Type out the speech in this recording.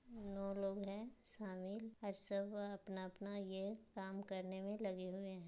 No लोग है शामिल और सब अपना-अपना ये काम करने में लगे हुए है ।